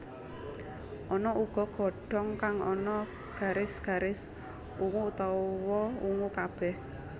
Ana uga godhong kang ana garis garis ungu utawa ungu kabéh